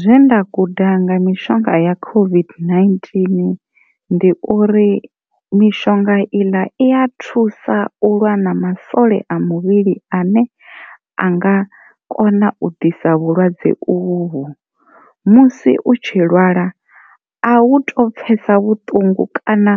Zwe nda guda nga mishonga ya COVID-19 ndi uri mishonga iḽa i ya thusa u lwa na masole a muvhili ane a nga kona u ḓisa vhulwadze uvhu musi u tshi lwala a u to pfhesa vhuṱungu kana